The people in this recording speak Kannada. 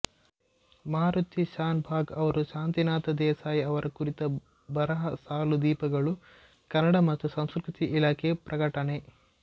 ಮಾರುತಿ ಶಾನಭಾಗ್ ಅವರ ಶಾಂತಿನಾಥ ದೇಸಾಯಿ ಅವರ ಕುರಿತ ಬರಹ ಸಾಲು ದೀಪಗಳು ಕನ್ನಡ ಮತ್ತು ಸಂಸ್ಕೃತಿ ಇಲಾಖೆ ಪ್ರಕಟಣೆ